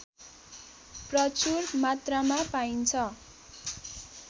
प्रचुर मात्रामा पाइन्छ